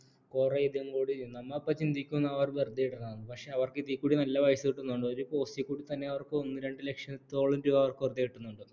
നമ്മ അപ്പ ചിന്തിക്കുന്നു അവർ വെറുതെ ഇടുന്നതാണെന്ന് പക്ഷേ അവർക്ക് കൂടി നല്ല പൈസ കിട്ടുന്നുണ്ട് ഒരു post ൽ കൂടി തന്നെ അവർക്ക് ഒന്നു രണ്ടു ലക്ഷം ത്തോളം രൂപ അവർക്ക് വെറുതെ കിട്ടുന്നുണ്ട്